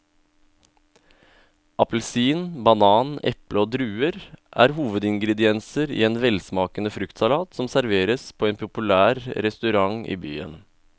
Appelsin, banan, eple og druer er hovedingredienser i en velsmakende fruktsalat som serveres på en populær restaurant i byen.